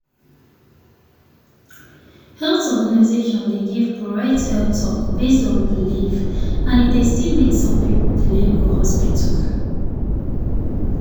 health organization dey give correct health talk based on belief and e dey still make some people delay go hospital.